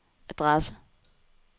adresse